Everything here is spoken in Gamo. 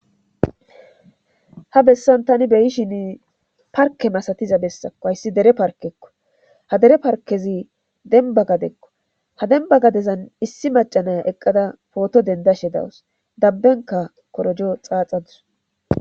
ha bessan tani beyi lshin parke masatiza bessakko hayssi dere parkekko ha dere parkezi denba gadekko ha denba gadezan issi macanaya eqqada pooto dendashe dawus dabbenka korojo xaaxadus